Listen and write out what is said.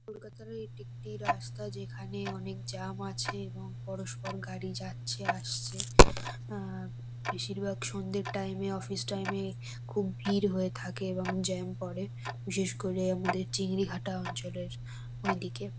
কলকাতারও এটি একটি রাস্তা যেখানে অনেক জাম আছে এবং পরস্পর গাড়ি যাচ্ছে আসছে। আ বেশিরভাগ সন্ধ্যের টাইম -এ অফিস টাইম -এ খুব ভিড় হয়ে থাকে এবং জ্যাম পড়ে । বিশেষ করে আমাদের চিংড়িঘাটা অঞ্চলের ওইদিকে।